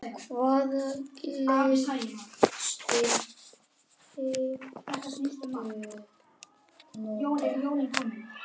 Hvaða leikstíl hyggstu nota?